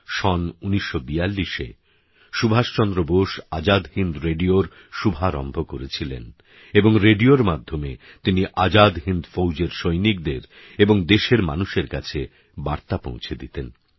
সন ১৯৪২এ সুভাষচন্দ্র বোস আজাদ হিন্দ রেডিওর শুভারম্ভ করেছিলেন এবং রেডিওর মাধ্যমে তিনি আজাদ হিন্দ ফৌজের সৈনিকদের এবং দেশের মানুষের কাছে বার্তা পৌঁছে দিতেন